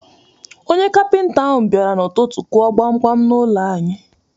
Onye kapinta ahụ bịara n'ụtụtụ kụọ gbamgbam n'ụlọ anyị.